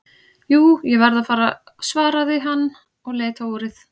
Jú, ég verð að fara svaraði hann og leit á úrið.